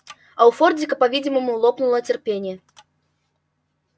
а у фордика по-видимому лопнуло терпение